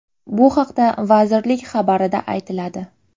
Bu haqda vazirlik xabarida aytiladi .